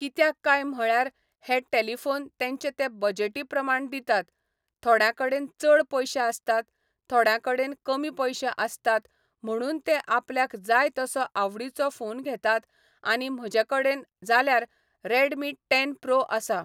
कित्याक काय म्हळ्यार हें टेलिफोन तेंचे तें बजटी प्रमाणें दितात थोड्याकडेन चड पयशें आसतात थोड्या कडेन कमी पयशें आसतात म्हणून ते आपल्याक जाय तसो आवडीचो फोन घेतात आनी म्हजे कडेन जाल्यार रेडमी टेन प्रो आसा